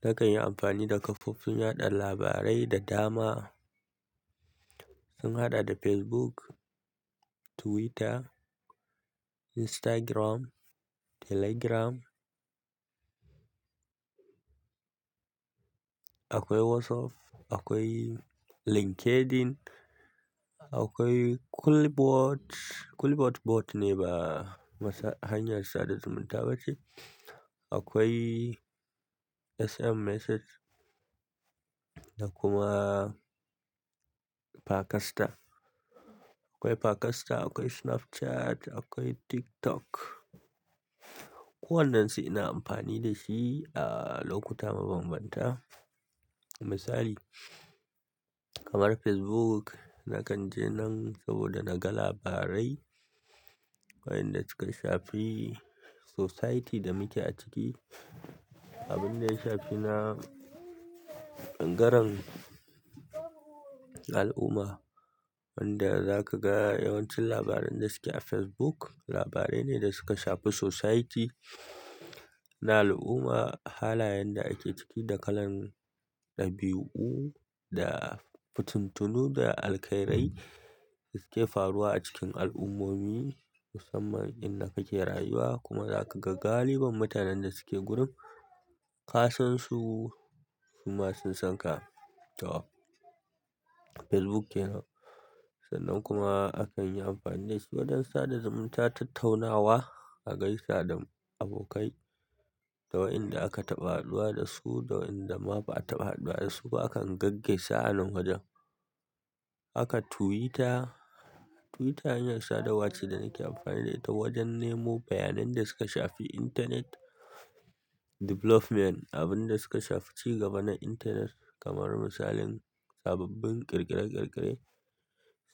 Na kan yi amfani da kafofin yaɗa labarai da dama. Sun haɗa da Facebook, Twitter, Instagram, Telegram. Akwai WhatsApp, akwai LinkedIn, akwai Culibot. Culibot bot ne ba hanyar sada da zumunta ba ce. Akwai SMS message da kuma Pakasta. Akwai Pakasta, akwai Snapchat, akwai TikTok. Kowane su ina amfani da shi a lokuta mabambanta. Misali, kamar Facebook na kan je nan saboda na ga labarai wayanda suka shafi society da muke ciki. Abinda ya shafi na ɓangaren al'umma wanda za ka ga yawancin labaran da suke a Facebook, labarai ne da suka shafi society na al'umma, halayen da ake ciki da kalan ɗabi'u da fituntunu da alkhairai da suke faruwa a cikin al'ummomi musamman inda kake rayuwa kuma za ka ga galiban mutanen da suke gurin ka san su su ma sun san ka. To Facebook kenan. Sannan kuma a kan yi amfani da shi wajen sadar da mutane, tattaunawa, a gaisa da abokai, da wayanda aka taɓa haɗuwa da su, wayanda ma ba a taɓa haɗuwa da su ba akan gaggaisa a nan wajen. Haka Twitter, Twitter hanyar sadarwa ce da nake amfani da ita wajen nemo bayanai da suka shafi internet development abin da suka shafi ci gaba na internet kamar misalin sababbin ƙirƙire-ƙirƙire,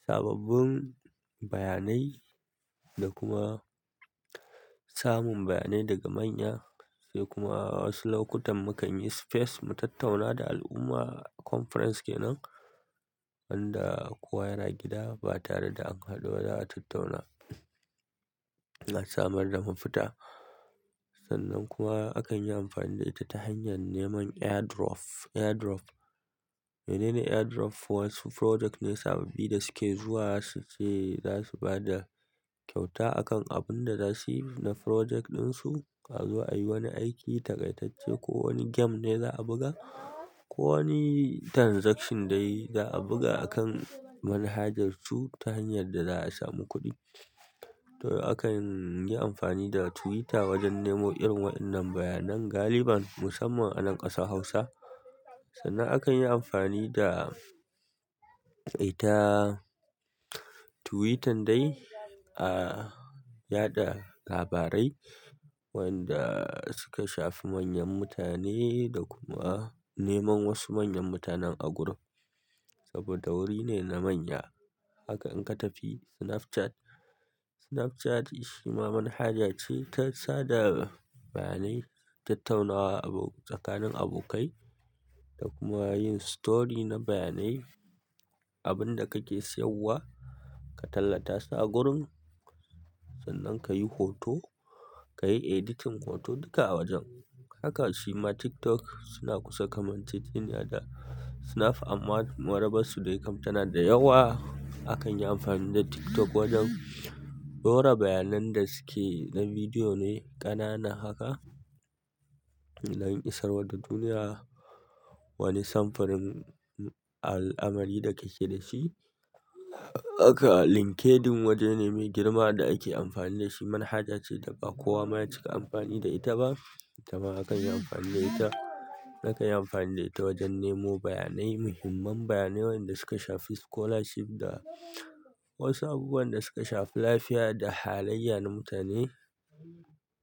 sababbin bayanai da kuma samun bayanai daga manya sai kuma wasu lokutan mukan yi space mu tattauna da al'umma, conference kenan wanda kowa yana gida ba tare da an haɗu ba za a tattauna a samar da mafita sannan kuma a kan yi amfani da ita ta hanyar neman airdrop. Airdrop, menene airdrop? Wasu project ne sababbi da suke zuwa su ce za su ba da kyauta akan abun da za su yi na project ɗinsu. A zo ayi wani aiki taƙaitacce ko wani game ne za a buga ko wani transaction dai za a buga a kan manhajarsu ta hanyar da za a samu kuɗi. To akan yi amfani da Twitter wajen nemo irin waɗannan bayanai galiban musamman a nan ƙasar Hausa. Sannan akan yi amfani da ita Twitter dai a yaɗa labarai wanda suka shafi manyan mutane da kuma neman wasu manyan mutanen a gurin saboda wuri ne na manya. Haka in ka tafi Snapchat. Snapchat shima manhaja ce ta sada bayanai, tattaunawa abu tsakanin abokai da kuma yin story na bayanai. Abin da kake sayarwa ka tallata sa a gurin sannan ka yi hoto, ka yi editing hoto duka a wajen. Haka shi ma TikTok suna kusa kusa kamanceceniy da snap amma marabarsu dai kam tana da yawa. Akan yi amfani da TikTok wajen ɗora bayanai da suke na bidiyo ne ƙanana haka na yin isarwa da duniya wani samfurin al'amari da kake da shi. Haka LinkedIn waje ne mai girma da ake amfani da shi. Manhaja ce da ba kowa ma ya cika amfani da ita ba. Ita ma akan yi amfani da ita. Naka yi amfani da ita wajen nemo bayanai, muhimman bayanai wayanda suka shafi scholarship da wasu abubuwan da suka shafi lafiya da halayya na mutane.